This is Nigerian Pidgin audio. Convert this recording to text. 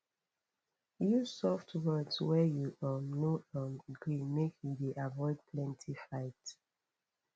use soft words wen you um no um gree make you dey avoid plenty fight